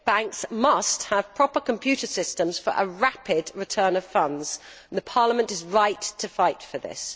Banks must have proper computer systems for a rapid return of funds. Parliament is right to fight for this.